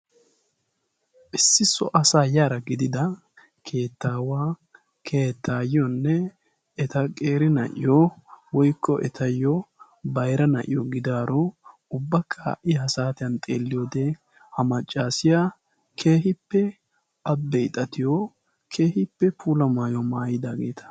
issi so7asaa yaara gidida keettaawaa keettaayyoonne eta qeeri naa7iyo woikko etayyo baira na7iyo gidaaro ubba kaa77i ha saatiyan xeelli wodee ha maccaasiya keehippe abbe ixatiyo keehiippe puula maayo maayidaageeta